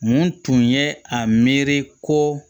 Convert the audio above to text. Mun tun ye a miiri ko